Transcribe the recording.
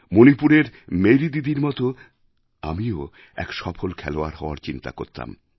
মণিপুরের মেরি দিদির মত আমিও এক সফল খেলোয়াড় হওয়ার চিন্তা করতাম